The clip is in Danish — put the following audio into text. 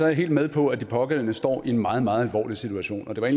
jeg helt med på at de pågældende står i en meget meget alvorlig situation og det var